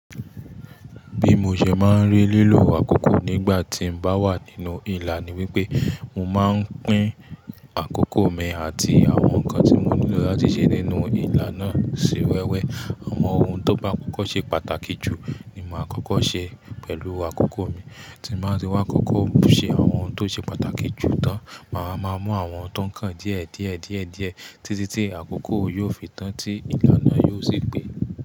Bí mo ṣe máa ń rí lílo àkókò nígbà tí mo bá wà nínú ìlà ni wípé mo máa ń pín àkókò mi àti àwọn nǹkan tí mo nílò láti ṣe nínú ìlà náà sí wẹ́wẹ́. Àwọn ohun tó bá kókó ṣe pàtàkì jù ni màá kókó ṣe pẹ̀lú àkókò mi, tí màá sì wá kókó ṣe àwọn ohun tó ṣe pàtàkì jù tán. Màá máa mú àwọn tó ń kàn díẹ̀, díẹ̀, díẹ̀, díẹ̀ títí tí àkókò yóò fi tán tí ìlà náà yóò sì pé.